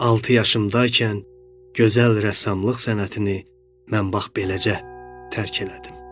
Altı yaşımdaykən gözəl rəssamlıq sənətini mən bax beləcə tərk elədim.